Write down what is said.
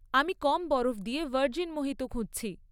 আমি কম বরফ দিয়ে ভার্জিন মোহিতো খুঁজছি।